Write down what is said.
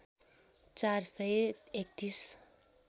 ४ सय ३१